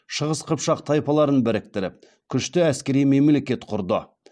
шығыс қыпшақ тайпаларын біріктіріп күшті әскери мемлекет құрды